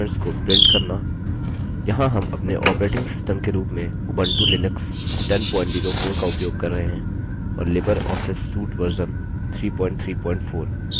यहाँ हम अपने operating system के रूप में उबंटु लिनक्स 1004 का उपयोग कर रहे हैं और लिबर ऑफिस suite version 334